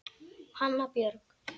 Hanna Björg.